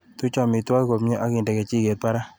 Tuch amitwogik komnyie akinde kijiket barak.